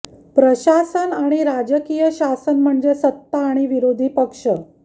प्रशासन आणि राजकीय शासन म्हणजे सत्ता आणि विरोधी पक्ष